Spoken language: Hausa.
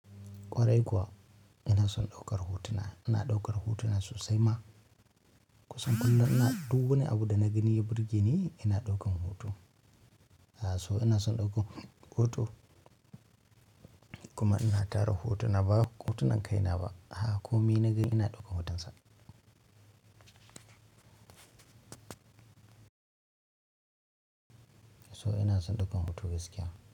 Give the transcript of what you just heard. Ƙwarai kuwa ina son ɗaukar hotuna. Ina ɗaukar hotuna sosai ma. Kusan kullum ina duk wani abu da na gani ya burge ni ina ɗaukan hoto. A so ina son ɗaukan hoto kuma ina tara hotuna. Ba hotunan kaina ba. A ko me na ga ina ɗaukan hotonsa. So ina son ɗaukan hoto gaskiya.